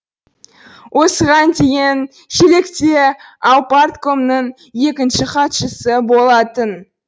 осыған дейін шелекте аупарткомның екінші хатшысы болатын